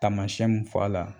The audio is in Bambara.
Tamasɛn mun fɔ a la